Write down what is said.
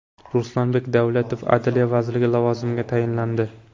Ruslanbek Davletov adliya vaziri lavozimiga tayinlandi.